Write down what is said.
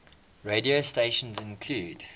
radio stations include